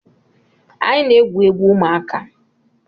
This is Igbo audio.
Anyị na-egwu egwu ụmụaka